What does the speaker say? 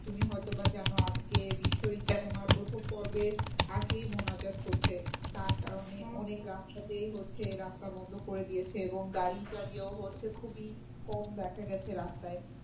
তুমি হয় তো বা জানো আজকে বিশ্বইস্তেমার প্রথম পর্বের আখেরি মোনাজাত হচ্ছে তার কারণে অনেক রাস্তাতেই হচ্ছে রাস্তা বন্ধ করে দিয়েছে এবং গাড়িটারিও হচ্ছে খুবই কম দেখা গেছে রাস্তায়।